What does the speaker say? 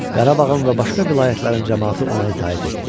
Qarabağın və başqa vilayətlərin camaatı ona itaət etdi.